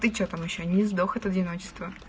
ты что там ещё не сдох от одиночества